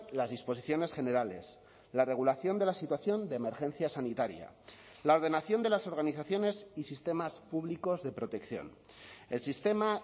las disposiciones generales la regulación de la situación de emergencia sanitaria la ordenación de las organizaciones y sistemas públicos de protección el sistema